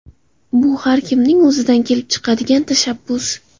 Bu har kimning o‘zidan kelib chiqadigan tashabbus.